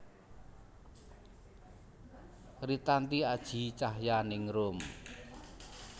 Ritanti Aji Cahyaningrum